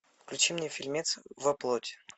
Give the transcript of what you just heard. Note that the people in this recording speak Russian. включи мне фильмец во плоти